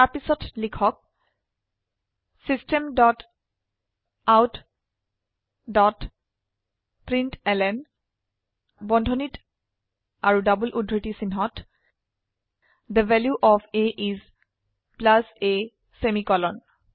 তাৰপিছত লিখক system dot out dot println বন্ধনীত আৰু ডবল উদ্ধৃতি চিনহত the value of a is a semicolon